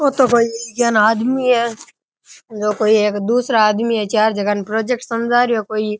यूं तो कोई या ना आदमी है यह कोई एक दूसरा आदमी है चार जना को प्रोजेक्ट समझा रहो है कोई।